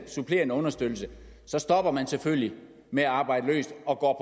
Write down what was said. supplerende understøttelse så stopper man selvfølgelig med at arbejde løst og går